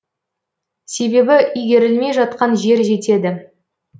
себебі игерілмей жатқан жер жетеді